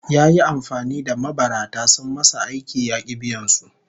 Yayi amfani da mabarata sun masa aiki ya ki biyan su